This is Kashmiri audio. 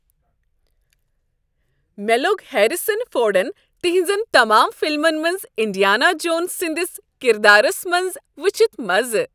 مےٚ لوٚگ ہیریسن فورڈن تہنٛزن تمام فلمن منٛز انڈیانا جونز سٕنٛدس کردارس منٛز وٕچھتھ مزٕ۔